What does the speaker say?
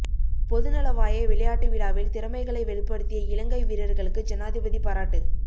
பொதுநலவாய விளையாட்டு விழாவில் திறமைகளை வெளிப்படுத்திய இலங்கை வீரர்களுக்கு ஜனாதிபதி பாராட்டு